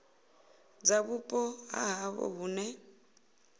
dza vhupo ha havho hune